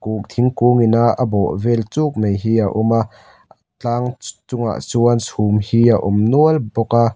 thingkung in a bawh vel chuk mai hi a awm a tlang chungah chuan chhum hi a awm nual bawk a.